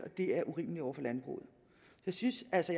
det er urimeligt over for landbruget jeg synes altså